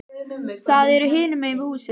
Það er hinum megin við húsið.